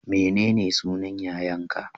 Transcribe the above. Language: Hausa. Menene sunan yayan ka?